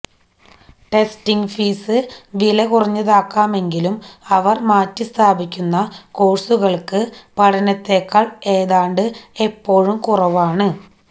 testing fees വിലകുറഞ്ഞതാകാമെങ്കിലും അവർ മാറ്റിസ്ഥാപിക്കുന്ന കോഴ്സുകൾക്ക് പഠനത്തേക്കാൾ ഏതാണ്ട് എപ്പോഴും കുറവാണ്